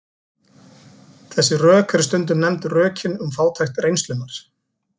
Þessi rök eru stundum nefnd rökin um fátækt reynslunnar.